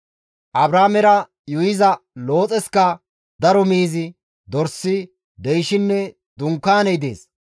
Abraamera yuuyiza Looxeska daro miizi, dorsi, deyshinne dunkaaney dees.